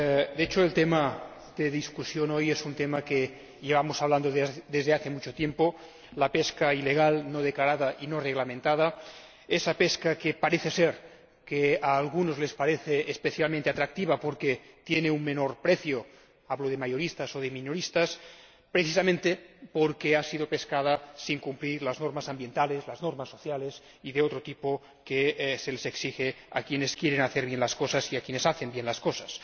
De hecho, el tema de debate hoy es un tema del que llevamos hablando desde hace mucho tiempo la pesca ilegal, no declarada y no reglamentada, esa pesca que parece ser a algunos les parece especialmente atractiva porque tiene un menor precio hablo de mayoristas o de minoristas precisamente porque se ha realizado sin cumplir las normas ambientales, las normas sociales y de otro tipo que se les exige a quienes quieren hacer bien las cosas y a quienes hacen bien las cosas.